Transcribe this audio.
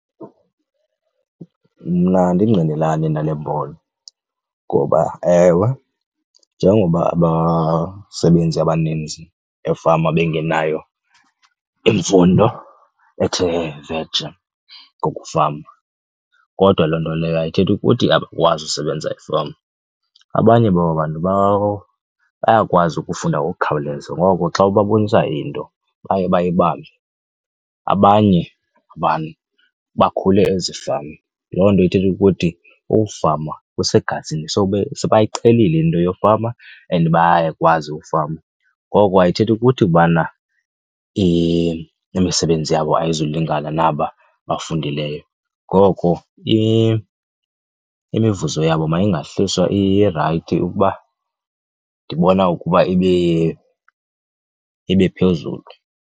Mna andingqinelani nale mbono. Ngoba ewe, njengoba abasebenzi abaninzi efama bengenayo imfundo ethe vetshe ngokufama kodwa loo nto leyo ayithethi ukuthi abakwazi usebenza efama. Abanye baba bantu bayakwazi ukufunda ngokukhawuleza, ngoko xa ubabonisa into baye bayibambe. Abanye abantu bakhule ezifama, loo nto ithetha ukuthi ukufama kusegazini so sebayiqhelile into yofama and bayakwazi ukufama. Ngoko ayithethi ukuthi ubana imisebenzi yabo ayizulingani naba abafundileyo, ngoko imivuzo yabo mayingahliswa, irayithi ukuba ndibona ukuba ibe phezulu.